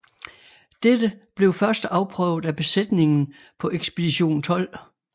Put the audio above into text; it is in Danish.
Dette blev først afprøvet af besætningen på Ekspedition 12